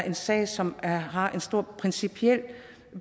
en sag som har stor principiel